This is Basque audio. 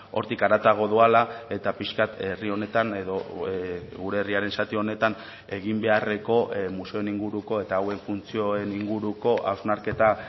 hortik haratago doala eta pixka bat herri honetan edo gure herriaren zati honetan egin beharreko museoen inguruko eta hauen funtzioen inguruko hausnarketa